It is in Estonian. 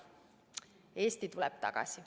Eesti tuleb tagasi.